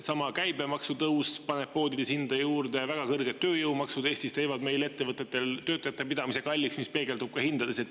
Sama käibemaksu tõus paneb poodides hinda juurde ja väga kõrged tööjõumaksud Eestis teevad meil ettevõtetel töötajate pidamise kalliks, mis peegeldub ka hindades.